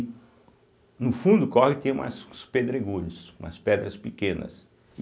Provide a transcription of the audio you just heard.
No fundo o córrego tinha umas uns pedregulhos, umas pedras pequenas.